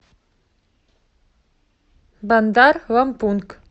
бандар лампунг